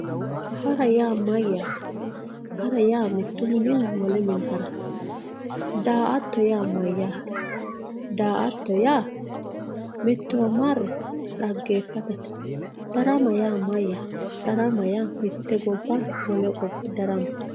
hara yaa mayyaate hara yaa mittu mininni wole mine harate daa"atto yaa mayyaate daa"atto yaa mittowa marre dhaggeeffatate darama yaa mayyaate darama yaa mitte gobba wole gobba daramate.